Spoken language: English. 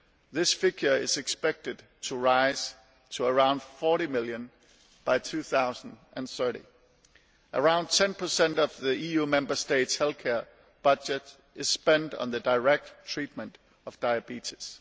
This figure is expected to rise to around 40 million by around 2030. Around 10 of the EU Member States' health care budget is spent on the direct treatment of diabetes.